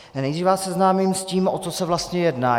Nejdřív vás seznámím s tím, o co se vlastně jedná.